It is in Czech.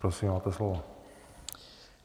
Prosím, máte slovo.